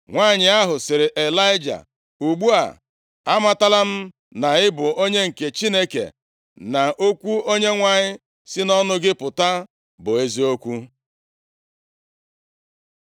Nwanyị ahụ sịrị Ịlaịja, “Ugbu a, amatala m na ị bụ onye nke chineke, na okwu Onyenwe anyị si nʼọnụ gị apụta bụ eziokwu.”